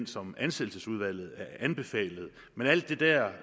som ansættelsesudvalget anbefalede men alt det der